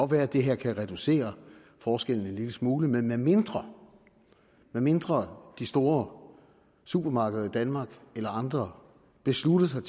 være at det her kan reducere forskellen en lille smule men medmindre medmindre de store supermarkeder i danmark eller andre beslutter sig